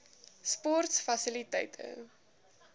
sportfasiliteite